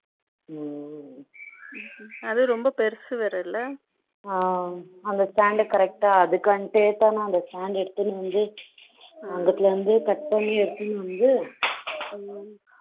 அது பெருசு வேற இல்ல ஆ அந்த stand correct ஆ அதுக்காண்டி அந்த stand எடுத்துனு வந்து ம்ம அங்கத்திலிருந்து கட் பண்ணி எடுத்துனு வந்து ம்ம